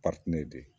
de